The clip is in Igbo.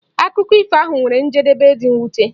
Akụkọ ifo ahu nwere njedebe dị mwute.